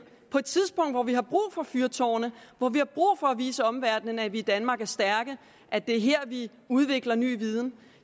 på et tidspunkt hvor vi har brug for fyrtårne hvor vi har brug for at vise omverdenen at vi i danmark er stærke at det er her vi udvikler ny viden